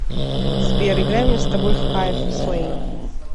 сбер играй мне с тобой в кайф слэйм